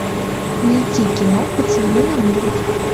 найти кино поцелуй навылет